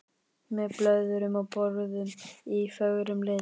Með blöðrum og borðum í fögrum lit.